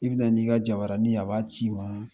I bɛ na n'i ka jabaranin ye a b'a ci i ma